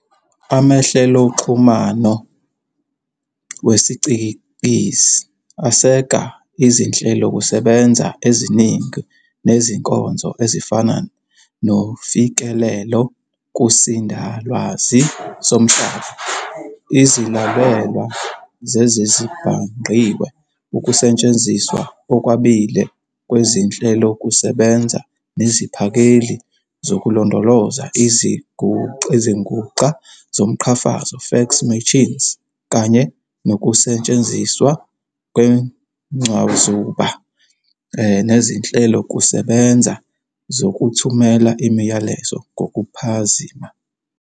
Amahleloxhumano wesicikizi aseka izinhlelokusebenza eziningi nezinkonzo, ezifana nofikelelo kusindalwazi somhlaba, izilalelwa zezezibhangqiwe, ukusetshenziswa okwabiwe kwezinhlelokusebenza neziphakeli zokulondoloza, izinguxa zomqhafazo "fax machines", kanye nokusetshenziswa kwencwazuba nezinhlelokusebenza zokuthumela imiyalezo ngokuphazima.